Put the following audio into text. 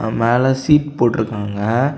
அ மேல சீட் போட்ருக்காங்க.